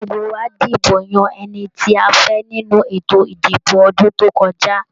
Gbogbo wa dibo yan ẹni tí a fẹ nínú ètò ìdìbò ọdún to kọjá.